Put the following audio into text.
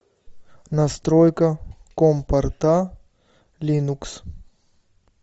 настройка ком порта линукс